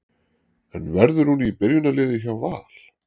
En verður hún í byrjunarliði hjá Val?